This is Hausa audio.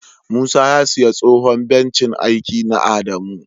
Musa ya siya tsohon bencin aiki na adamu.